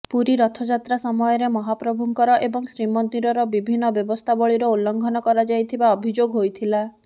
ପୁରୀ ରଥଯାତ୍ରା ସମୟରେ ମହାପ୍ରଭୁଙ୍କର ଏବଂ ଶ୍ରୀମନ୍ଦିରର ବିଭିନ୍ନ ବ୍ୟବସ୍ଥାବଳୀର ଉଲଂଘନ କରାଯାଇଥିବା ଅଭିଯୋଗ ହୋଇଥିଲା